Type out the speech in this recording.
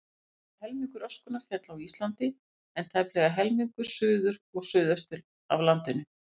Rúmlega helmingur öskunnar féll á Íslandi, en tæplega helmingur suður og suðaustur af landinu.